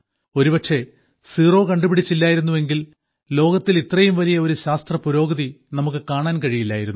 ഒരുപക്ഷേ സീറോ കണ്ടുപിടിച്ചില്ലായിരുന്നെങ്കിൽ ലോകത്തിൽ ഇത്രയും വലിയ ഒരു ശാസ്ത്രപുരോഗതി നമുക്ക് കാണാൻ കഴിയില്ലായിരുന്നു